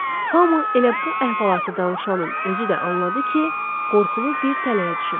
hamı elə bu əhvalatı danışanın özü də anladı ki, qorxulu bir tələyə düşüblər